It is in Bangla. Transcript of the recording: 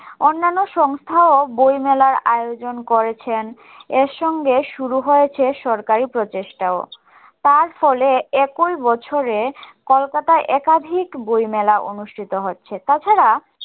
অন্নান্য সংস্থাও বই মেলার আয়োজন করেছেন এর সঙ্গে শুরু হয়েছে সরকারি প্রচেষ্টাও তার ফলে একই বছরে কলকাতায় একাধিক বই মেলা অনুষ্ঠিত হচ্ছে